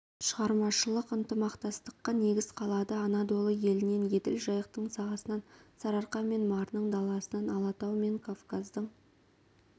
шығармашылық ынтымақтастыққа негіз қалады анадолы елінен еділ-жайықтың сағасынан сарыарқа мен марының даласынан алатау мен кавказдың